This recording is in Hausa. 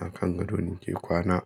A kan gado ni ke kwana.